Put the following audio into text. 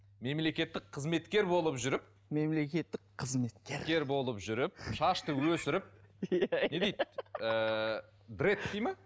мемлекеттік қызметкер болып жүріп мемлекеттік қызметкер болып жүріп шашты өсіріп не дейді ііі брэд дейді ме